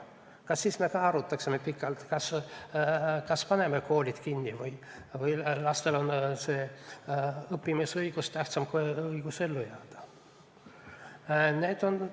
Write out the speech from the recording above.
Kas me siis ka arutaksime pikalt, kas paneme koolid kinni, et kas laste õppimise õigus on tähtsam kui õigus ellu jääda?